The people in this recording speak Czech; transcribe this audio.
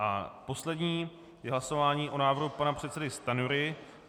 A poslední je hlasování o návrhu pana předsedy Stanjury.